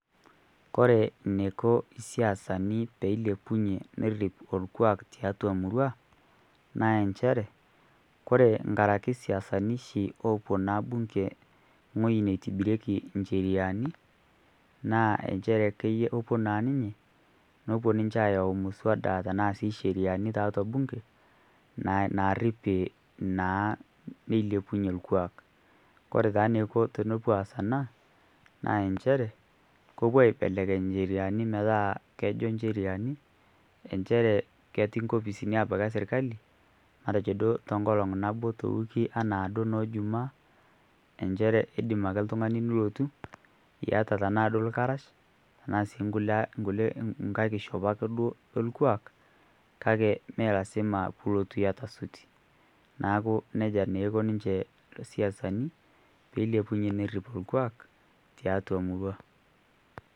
kore neiko siasani peilepunye nerip orkuak tiatua murua naa enshere kore engarake siasani shi opuo naa bunge nghoji neitibirieki nsheriani naa enshere kopuo naa ninyee nopuo ninshe ayau msawada tanaa sii nsheriani taatua bunge naarip naa neilepunye lkuak kore taa neiko tenepuo aaz anaa naa ensheree kopuo aibelekeny ncheriani metaa kejoo ncheriani enchere keti nkopisini abaki e sirkali matejo duo onkolong naboo to wikii ana duo noo jumaa enchere indim ake ltungani ake nilotuu iata tanaa duo lkarash tanaa sii nkulie nghai kishopoo e lkuak kakee mee lazima pilotuu iata sutii naaku neja naa eiko ninshe siasani peilepunye nerip lkuak tiatua murua